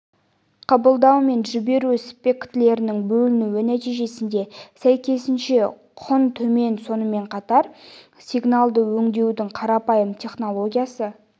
қабылдау мен жіберу спектрлерінің бөлінуі нәтижесінде сәйкесінше құн төмен сонымен қатар сигналды өңдеудің қарапайым техникасы